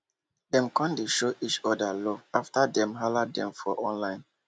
dem come dey show each orda love afta dem hala dem for online